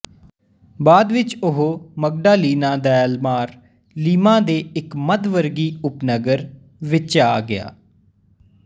ਬਾਅਦ ਵਿੱਚ ਉਹ ਮਗਡਾਲਿਨਾ ਦੈਲ ਮਾਰ ਲੀਮਾ ਦੇ ਇੱਕ ਮੱਧ ਵਰਗੀ ਉਪਨਗਰ ਵਿੱਚਆ ਗਿਆ